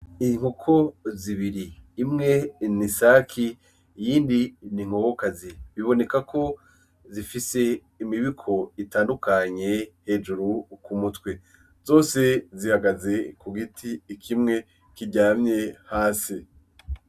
N'ikoko zibiri , imwe ni isake iyindi ni inkokokazi bibonekako zifise imibiko itandukanye hejuru kumutwe zose zihagaze kugiti kimwe kiryamye hasi .